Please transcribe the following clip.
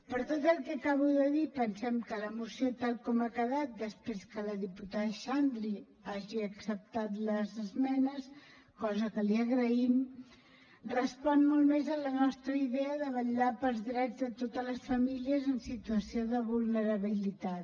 per tot el que acabo de dir pensem que la moció tal com ha quedat després que la diputada xandri hagi acceptat les esmenes cosa que li agraïm respon molt més a la nostra idea de vetllar pels drets de totes les famílies en situació de vulnerabilitat